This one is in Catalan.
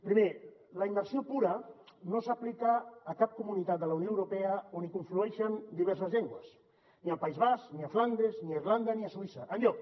primer la immersió pura no s’aplica a cap comunitat de la unió europea on hi conflueixen diverses llengües ni al país basc ni a flandes ni a irlanda ni a suïssa enlloc